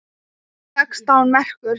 Sextán merkur!